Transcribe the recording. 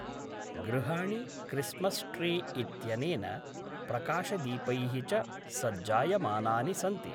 गृहाणि Christmas tree इत्यनेन प्रकाशदीपै: च सज्जायमानानि सन्ति।